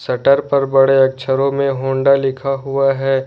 Shutter पर बड़े अक्षरों में होंडा लिखा हुआ है।